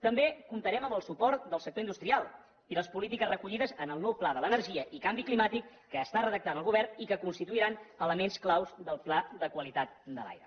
també comptarem amb el suport del sector industrial i les polítiques recollides en el nou pla de l’energia i canvi climàtic que està redactant el govern i que constituiran elements clau del pla de qualitat de l’aire